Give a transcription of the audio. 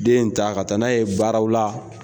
Den in ta ka taa n'a ye baaraw la